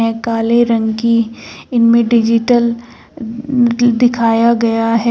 यह काले रंग की इनमें डिजिटल द्-दिखाया गया है।